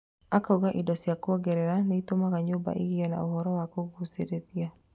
Akauga indo cia kwongerera nĩitũmaga nyũmba ĩgĩe na ũhoro wa kũgũcirĩria